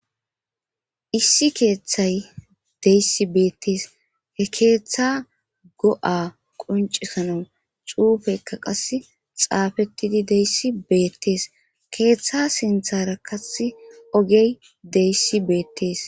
Issi keeththay deyssi beettees he keeththa go7a quncisana cuufeykka qas xaafettidi deyssi beettees keeththa sinthara kas ogey deyssi beettees